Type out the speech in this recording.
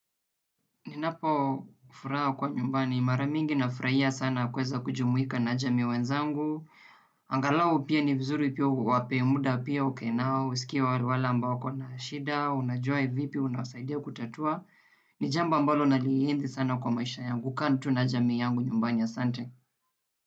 Ninapo furaha kwa nyumbani. Mara mingi nafurahia sana kuweza kujumuika na jamii wenzangu. Angalau pia ni vizuri pia uwape muda pia ukae nao. Zikiwa wale ambao wakona shida. Unajua vipi. Unawasaidia kutatua. Ni jambo ambalo nalienzi sana kwa maisha yangu. Kukaa tu na jamii yangu nyumbani asante.